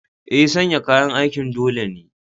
Eh, sanya kayan aikin dole ne.